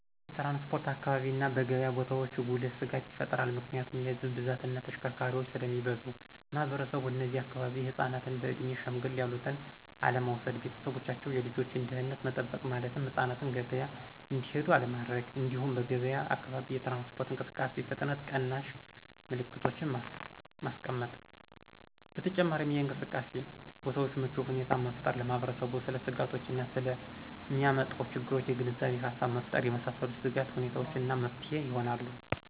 በትራንስፖርት አካባቢ እና በገብያ ቦታዎች ጉልህ ስጋት ይፈጥራል ምክንያቱም የህዝብ ብዛት እና ተሽከርካሪዎች ስለሚበዙ። ማህበረሰቡ እነዚህ አካባቢ ህፃናትን በእድሜ ሸምገል ያሉትን አለመውሰድ። ቤተሰቦቻቸው የልጆችን ደህንነት መጠበቅ ማለትም ህፃናትን ገበያ እንዲሄዱ አለማድረግ። እንዲሁም በገብያ አካባቢ የትራንስፖርት እንቅስቃሴ ፍጥነት ቀናሽ ምልክቶችን ማስቀመጥ። በተጨማሪም የእንቅስቃሴ ቦታዎችን ምቹ ሁኔታን መፍጠር። ለማህበረሰቡ ስለ ስጋቶች እና ስለ ሚያመጣው ችግሮች የግንዛቤ ሃሳብ መፍጠር የመሳሰሉት የስጋት ሁኔታዎች እና መፍትሄ ይሆናሉ።